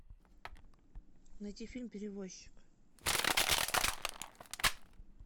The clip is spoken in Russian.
найти фильм перевозчик